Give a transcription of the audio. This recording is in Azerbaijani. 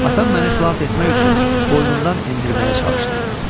Atam məni xilas etmək üçün boynundan endirməyə çalışdı.